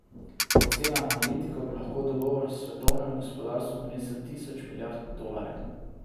Po ocenah analitikov bi lahko dogovor svetovnemu gospodarstvu prinesel tisoč milijard dolarjev.